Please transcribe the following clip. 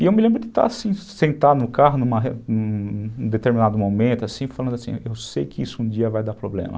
E eu me lembro de estar sentado no carro em um determinado momento, falando assim, eu sei que isso um dia vai dar problema.